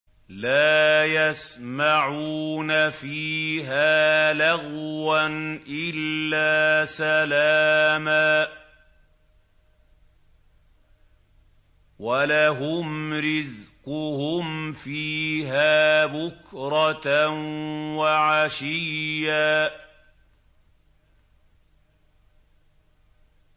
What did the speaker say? لَّا يَسْمَعُونَ فِيهَا لَغْوًا إِلَّا سَلَامًا ۖ وَلَهُمْ رِزْقُهُمْ فِيهَا بُكْرَةً وَعَشِيًّا